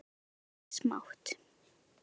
Skerið laukinn smátt.